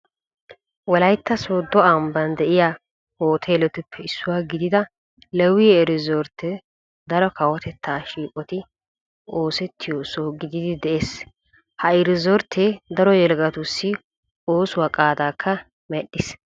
Wolaytta sooddo ambban de'iya hooteeletuppe issuwa gidida leewii iriizorttee daro kawotettaa shiiqoti oosettiyo soho gidiiddi de'ees. Ha iriizorttee daro yelagatussi oosuwa qaadaakka medhdhiis.